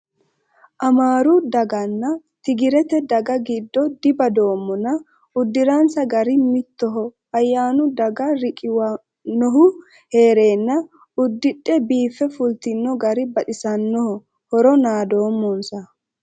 Amaru dagganna tigirete daga giddo dibadoommonna uddiransa gari mittoho ayyannu daga riqiwanohu heerenna uddidhe biife fultino gari baxisanoho horo naadoommosa.